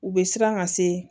U bɛ siran ka se